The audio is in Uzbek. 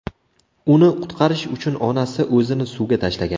Uni qutqarish uchun onasi o‘zini suvga tashlagan.